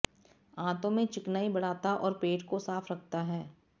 आंतों में चिकनाई बढ़ाता और पेट को साफ रखता है